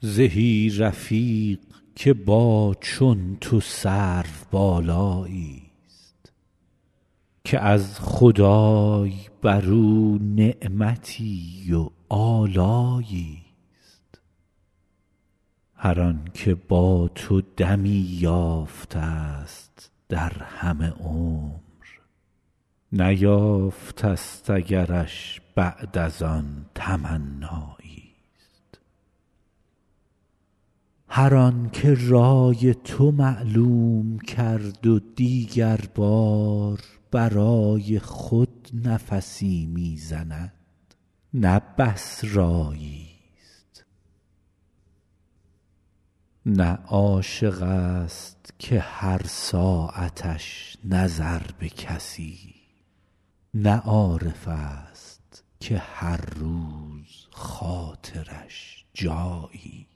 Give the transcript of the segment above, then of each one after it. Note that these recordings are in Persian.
زهی رفیق که با چون تو سروبالایی است که از خدای بر او نعمتی و آلایی است هر آن که با تو دمی یافته است در همه عمر نیافته است اگرش بعد از آن تمنایی است هر آن که رای تو معلوم کرد و دیگر بار برای خود نفسی می زند نه بس رایی است نه عاشق است که هر ساعتش نظر به کسی نه عارف است که هر روز خاطرش جایی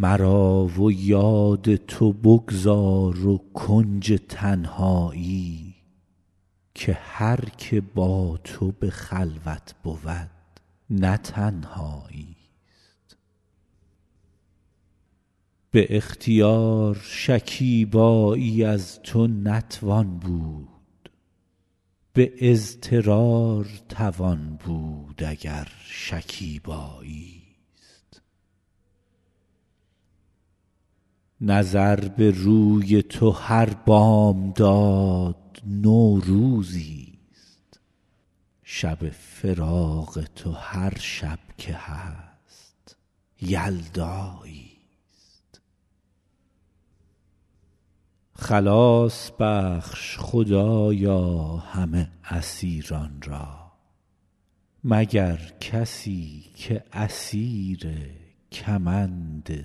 است مرا و یاد تو بگذار و کنج تنهایی که هر که با تو به خلوت بود نه تنهایی است به اختیار شکیبایی از تو نتوان بود به اضطرار توان بود اگر شکیبایی است نظر به روی تو هر بامداد نوروزی است شب فراق تو هر شب که هست یلدایی است خلاص بخش خدایا همه اسیران را مگر کسی که اسیر کمند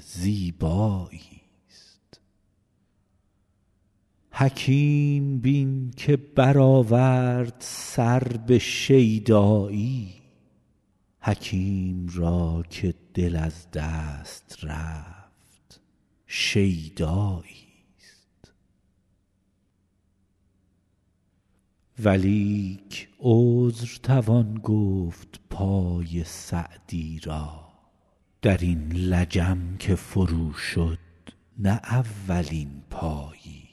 زیبایی است حکیم بین که برآورد سر به شیدایی حکیم را که دل از دست رفت شیدایی است ولیک عذر توان گفت پای سعدی را در این لجم چو فرو شد نه اولین پایی است